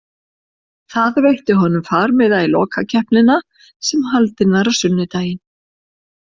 Það veitti honum farmiða í lokakeppnina sem var haldin á sunnudaginn.